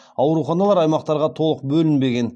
ауруханалар аймақтарға толық бөлінбеген